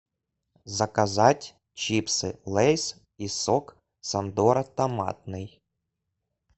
заказать чипсы лэйс и сок сандора томатный